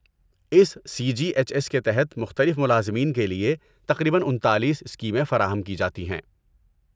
اس C G H S کے تحت مختلف ملازمین کے لیے تقریباً انتالیس اسکیمیں فراہم کی جاتی ہیں